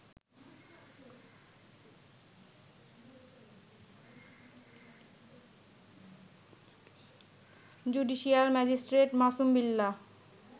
judicial magistrate Masum Billah